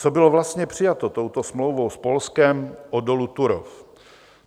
Co bylo vlastně přijato touto smlouvou s Polskem o dolu Turów?